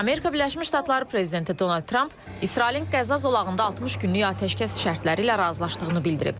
Amerika Birləşmiş Ştatları prezidenti Donald Tramp İsrailin Qəza zolağında 60 günlük atəşkəs şərtləri ilə razılaşdığını bildirib.